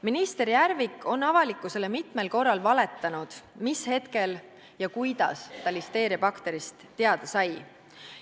Minister Järvik on avalikkusele mitmel korral valetanud selle kohta, mis hetkel ja kuidas ta listeeriabakterist teada sai.